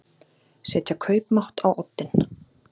Setja kaupmátt á oddinn